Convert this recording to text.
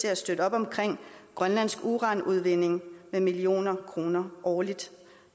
at støtte op om grønlandsk uranudvinding med millioner af kroner årligt